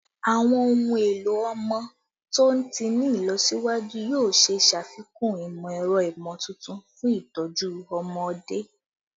Awọn ohun elo ọmọ to ti ni ilọsiwaju yoo ṣee ṣafikun imọ-ẹrọ imotuntun fun itọju ọmọde